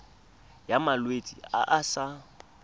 ya malwetse a a sa